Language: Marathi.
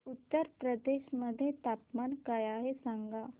उत्तर प्रदेश मध्ये तापमान काय आहे सांगा